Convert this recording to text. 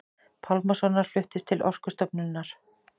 Pálmasonar fluttist til Orkustofnunar.